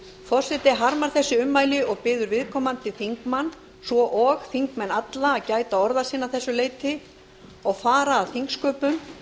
forseti harmar þessi ummæli og biður viðkomandi þingmann svo og þingmenn alla að gæta orða sinna að þessu leyti og fara að þingsköpum